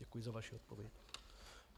Děkuji za vaši odpověď.